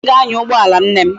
Ee, anyi ga anya ugboala nne m